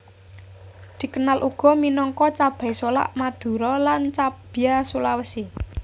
Dikenal uga minangka cabai solak Madura lan cabia Sulawesi